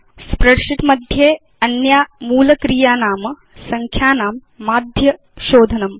spreadsheet मध्ये अन्या मूल क्रिया नामसंख्यानां माध्यएवरेज शोधनम्